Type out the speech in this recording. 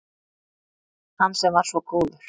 Hann sem var svo góður